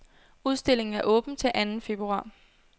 Udstillingen er åben til anden februar.